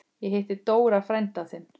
Ég hitti Dóra frænda þinn.